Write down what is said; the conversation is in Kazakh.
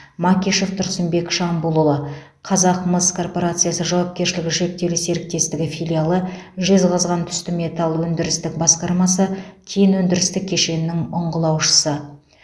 макишев тұрсынбек шамбулұлы қазақмыс корпорациясы жауапкершілігі шектеулі серіктестігі филиалы жезқазған түсті металл өндірістік басқармасы кен өндірістік кешенінің ұңғылаушысы